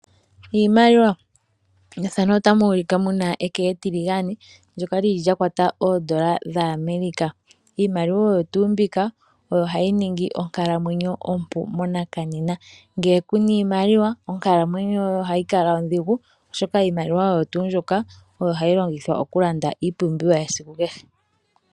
Iimaliwa ohayi ningi onkalamwenyo ompu monena. Ngele kuna iimaliwa onkalamwenyo yoye ohayi ondhigu, oshoka iimaliwa oyo hayi longithwa okulanda iipumbiwa yesiku kehe.